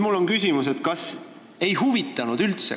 Mul on küsimus: kas teid üldse ei huvitanud?